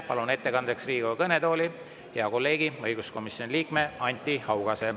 Palun ettekandeks Riigikogu kõnetooli hea kolleegi, õiguskomisjoni liikme Anti Haugase.